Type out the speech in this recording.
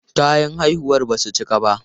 Kayan haihuwar ba su cika ba.